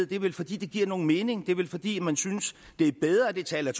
det er vel fordi det giver mening det er vel fordi man synes det er bedre at det tal er